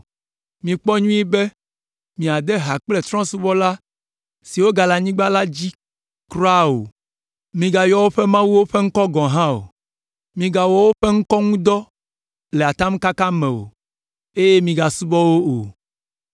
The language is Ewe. Mikpɔ nyuie be, miade ha kple trɔ̃subɔla siwo gale anyigba la dzi kura o. Migayɔ woƒe mawuwo ƒe ŋkɔ gɔ̃ hã o; migawɔ woƒe ŋkɔ ŋu dɔ le atamkaka me o, eye migasubɔ wo o.